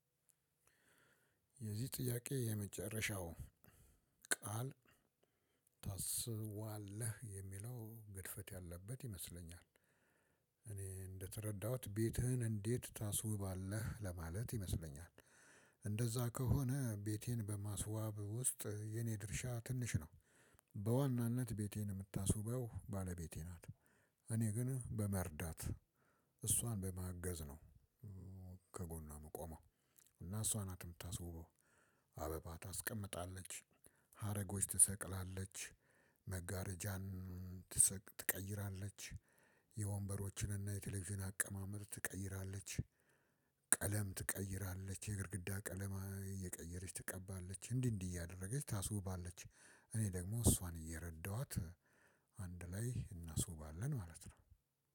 የዚህ ጥያቄ የመጨረሻው ቃል ታስዋለህ የሚለው ግድፈት አለበት ይመስለኛል። እኔ እንደተረዳሁት ቤትህን እንዴት ታስውባለህ ለማለት ይመስለኛል። እንደዛ ከሆነ ቤቴን በማስዋብ ውስጥ የኔ ድርሻ ትንሽ ነው። በዋናነት ቤቴን የምታስውበው ባለቤቴ ናት። እኔ ግን በመርዳት እሷን በማገዝ ነው። ከጎኗ ምቆመው እና እሷ ናት የምታስውበው። አበባ ታስቀምጣለች። ሀረጎች ትሰቅላለች። መጋረጃን ትቀይራለች። የወንበሮችንና የቴሌቪዥን አቀማመጥ ትቀይራለች። ቀለም ትቀይራለች የግድግዳ ቀለም እየቀየረች ትቀባለች እንዲህ እንዲህ እያደረገች ታስውባለች። እኔ ደግሞ እሷን እየረዳሁአት አንድ ላይ እናስውባለን ማለት ነው።